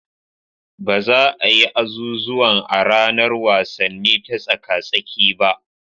Ba za a yi azuzuwan a ranar wasanni ta tsaka-tsaki ba.